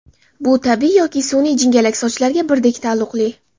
Bu tabiiy yoki sun’iy jingalak sochlarga birdek taalluqli.